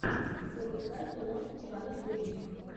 запускай киношку в жанре боевик